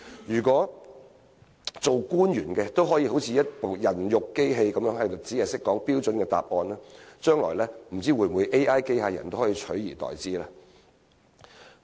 如果官員像一部"人肉錄音機"，只會給予標準答案，不知道將來會否被 AI 機械人取而代之呢？